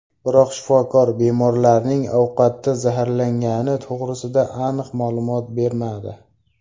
Biroq shifokor bemorlarning ovqatdan zaharlangani to‘g‘risida aniq ma’lumot bermadi.